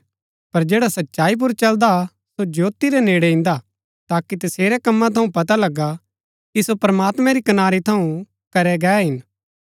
पर जैडा सच्चाई पुर चलदा सो ज्योती रै नेड़ै इन्दा ताकि तसेरै कम्मा थऊँ पता लगा कि सो प्रमात्मैं री कनारी थऊँ करै गै हिन